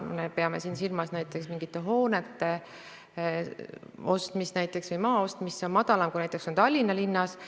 Me peame siin silmas näiteks mingite hoonete ostmist või maa ostmist, nende väärtus on väiksem kui näiteks Tallinna linnas.